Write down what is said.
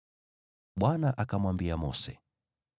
Bwana akamwambia Mose,